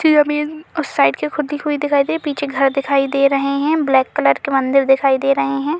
उस साइड के खुदी हुई दिखाई दीपीछे घर दिखाई रहे हैंब्लैक कलर के मंदिर दिखाई दे रहे हैं।